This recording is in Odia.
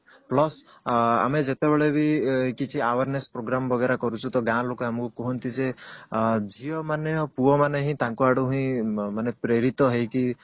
plus ଆମେ ଯେତେବେଳେ ବି କିଛି awareness programme ବାଗେରା କରୁଛି ତ ଗାଁ ଲୋକ ଆମକୁ କୁହନ୍ତି ଯେ ଅ ଝିଅ ମାନଙ୍କୁ ପୁଅମାନେ ହିଁ ତାଙ୍କ ଆଡକୁ ହିଁ ମାନେ ପ୍ରେରିତ ହେଇକି